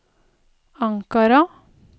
Ankara